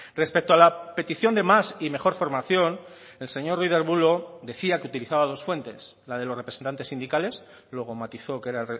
respecto a la petición de más y mejor formación el señor ruiz de arbulo decía que utilizaba dos fuentes la de los representantes sindicales luego matizó que era